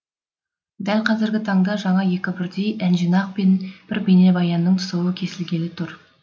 дәл қазіргі таңда жаңа екі бірдей әнжинақ пен бір бейнебаянның тұсауы кесілгелі тұр